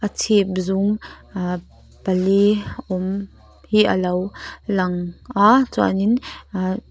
chhip zum ahh pali awm hi a lo lang a chuanin ahh--